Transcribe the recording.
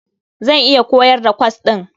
Zan iya koyar da kwas ɗin.